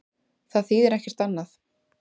Það þýðir ekkert annað.